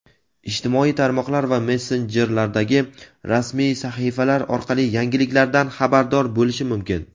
ijtimoiy tarmoqlar va messenjerlardagi rasmiy sahifalar orqali yangiliklardan xabardor bo‘lishi mumkin.